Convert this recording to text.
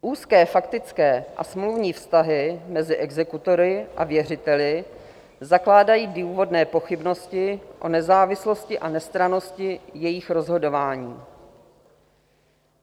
Úzké faktické a smluvní vztahy mezi exekutory a věřiteli zakládají důvodné pochybnosti o nezávislosti a nestrannosti jejich rozhodování.